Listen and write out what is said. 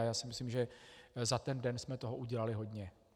A já si myslím, že za ten den jsme toho udělali hodně.